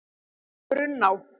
Brunná